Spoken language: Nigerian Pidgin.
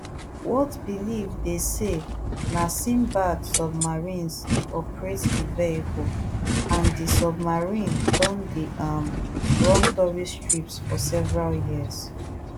whatbelieve dey say na sindbad submarines dey operate di vehicle and di submarine don dey um run tourist trips for several years